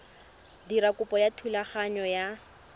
dira kopo ya thulaganyo ya